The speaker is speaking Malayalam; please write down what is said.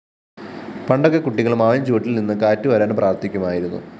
പണ്ടൊക്കെ കുട്ടികള്‍ മാവിന്‍ചുവട്ടില്‍ നിന്ന് കാറ്റുവരാന്‍ പ്രാര്‍ഥിക്കുമായിരുന്നു